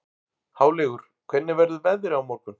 Háleygur, hvernig verður veðrið á morgun?